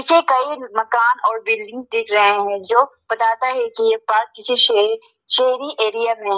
पीछे कई मकान और बिल्डिंग दिख रहे हैं जो बताता है कि ये पार्क किसी शेर शहरी एरिया में--